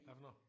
Hvad for noget?